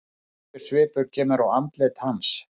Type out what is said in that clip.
Þreytusvipur kemur á andlit hans.